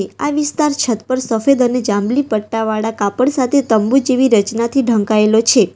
આ વિસ્તાર છત પર સફેદ અને જાંબલી પટ્ટાવાળા કાપડ સાથે તંબુ જેવી રચનાથી ઢંકાયેલો છે.